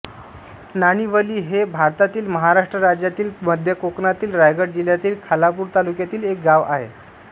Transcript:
नाणिवली हे भारतातील महाराष्ट्र राज्यातील मध्य कोकणातील रायगड जिल्ह्यातील खालापूर तालुक्यातील एक गाव आहे